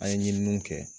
An ye ɲininiw kɛ